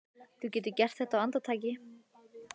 Þú getur gert þetta á andartaki.